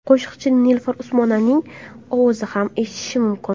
Qo‘shiqda Nilufar Usmonovaning ovozi ham eshitish mumkin.